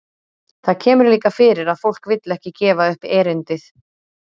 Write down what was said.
Það kemur líka fyrir að fólk vill ekki gefa upp erindið.